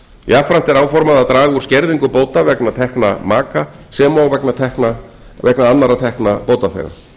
jafnframt er áformað að draga úr skerðingu bóta vegna tekna maka sem og vegna annarra tekna bótaþega